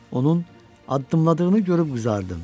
Onun addımladığını görüb qızardım.